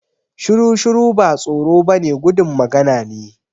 Shiru-shiru ba tsoro ba ne gudun magana ne